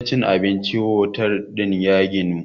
wajen cin abincin otal din ya ginu